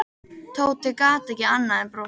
Tóti gat ekki annað en brosað.